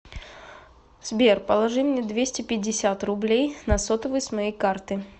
сбер положи мне двести пятьдесят рублей на сотовый с моей карты